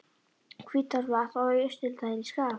Hvítárvatns og í Austurdal í Skagafirði.